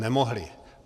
Nemohli!